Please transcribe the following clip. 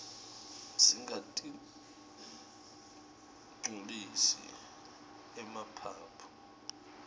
singatinqcolisi emaphaphu